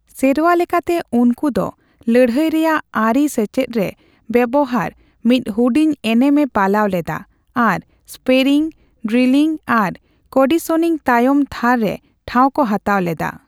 ᱥᱮᱨᱣᱟᱞᱮᱠᱟᱛᱮ ᱩᱱᱠᱚ ᱫᱚ ᱞᱟᱹᱲᱦᱟᱹᱭ ᱨᱮᱭᱟᱜ ᱟᱹᱨᱤ ᱥᱮᱪᱮᱫᱨᱮ ᱵᱮᱣᱦᱟᱨ ᱢᱤᱫ ᱦᱩᱰᱤᱧ ᱮᱱᱮᱢ ᱮ ᱯᱟᱞᱟᱣ ᱞᱮᱫᱟ ᱟᱨ ᱥᱯᱮᱨᱤᱝ, ᱰᱨᱤᱞᱤᱝ ᱟᱨ ᱠᱚᱰᱤᱥᱚᱱᱤᱝ ᱛᱟᱭᱚᱢ ᱛᱷᱟᱨ ᱨᱮ ᱴᱷᱟᱣ ᱠᱚ ᱦᱟᱛᱟᱣ ᱞᱮᱫᱟ ᱾